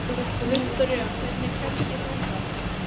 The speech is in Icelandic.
Viktoría, hvernig kemst ég þangað?